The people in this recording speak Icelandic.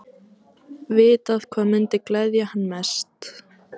Vitað hvað mundi gleðja hann mest.